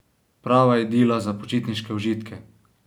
Prava idila za počitniške užitke!